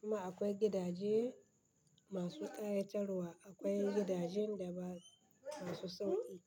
kuma akwai gidaje masu ƙayatarwa. Akwai gidajen da ba masu sauƙi.